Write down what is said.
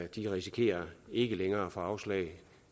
de risikerer ikke længere af få afslag